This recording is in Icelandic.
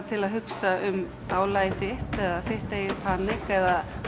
til að hugsa um álagið þitt eða þitt eigið panik eða